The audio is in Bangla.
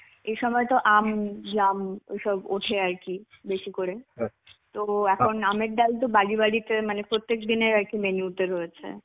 এই সময় তো আম, জাম ওইসব ওঠে আর কি বেশি করে. তো এখন আমের ডাল তো বাড়ি বাড়িতে মানে প্রত্যেক দিনের আর কি menu তে রয়েছে.